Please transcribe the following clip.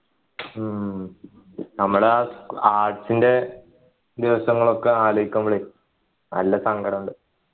ഉം നമ്മുടെ ആ arts ൻ്റെ ദിവസങ്ങളൊക്കെ ആലോചിക്കുമ്പോളേ നല്ല സങ്കടമുണ്ട്